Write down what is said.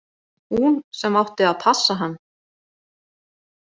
Hún sem átti að passa hann.